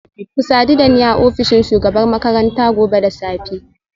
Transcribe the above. Ku sadu da ni a ofishin shugabar makaranta gobe da safe